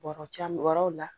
Bɔrɔjamanaw la